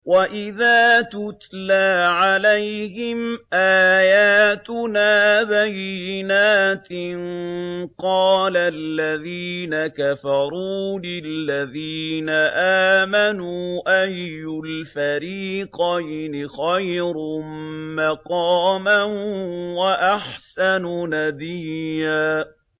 وَإِذَا تُتْلَىٰ عَلَيْهِمْ آيَاتُنَا بَيِّنَاتٍ قَالَ الَّذِينَ كَفَرُوا لِلَّذِينَ آمَنُوا أَيُّ الْفَرِيقَيْنِ خَيْرٌ مَّقَامًا وَأَحْسَنُ نَدِيًّا